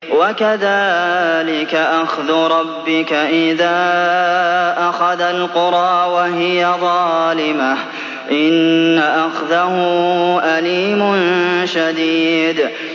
وَكَذَٰلِكَ أَخْذُ رَبِّكَ إِذَا أَخَذَ الْقُرَىٰ وَهِيَ ظَالِمَةٌ ۚ إِنَّ أَخْذَهُ أَلِيمٌ شَدِيدٌ